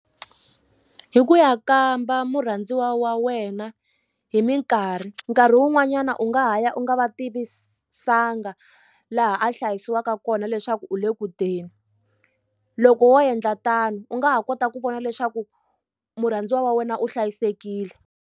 Hi ku ya kamba murhandziwa wa wena hi mikarhi nkarhi wun'wanyana u nga ha ya u nga va tivisanga laha a hlayisiwaka kona leswaku u le ku teni loko wo endla tano u nga ha kota ku vona leswaku murhandziwa wa wena u hlayisekile.